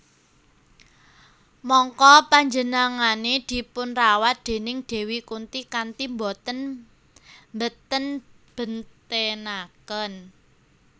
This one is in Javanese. Mangka penjenengane dipunrawat déning Dewi Kunti kanthi boten mbenten bentenaken